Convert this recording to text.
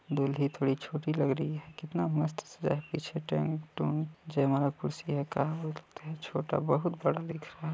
दुल्ही थोड़ी छोटी लग रही हैं कितना मस्त सजा हैपीछे टेंट ऊंट जयमाला कुर्सी छोटा बहुत बड़ा दिख रहा है।